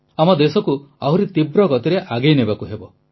ଆମ ଦେଶକୁ ଆହୁରି ତୀବ୍ର ଗତିରେ ଆଗେଇ ନେବାକୁ ହେବ